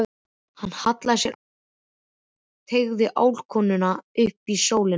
Hann hallaði sér aftur og teygði álkuna upp í sólina.